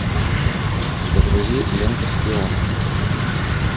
загрузи ленту шпион